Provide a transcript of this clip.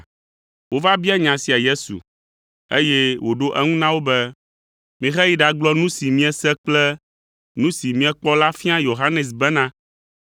Wova bia nya sia Yesu, eye wòɖo eŋu na wo be, “Miheyi ɖagblɔ nu si miese kple nu si miekpɔ la fia Yohanes bena,